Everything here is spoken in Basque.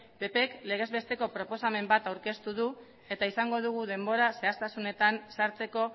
ppk legez besteko proposamen bat aurkeztu du eta izango dugu denbora zehaztasunetan sartzeko